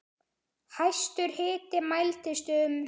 Hæstur hiti mældist um